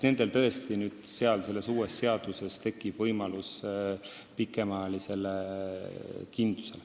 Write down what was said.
Nendel tekib tõesti uue seadusega võimalus pikemaajalisele kindlusele.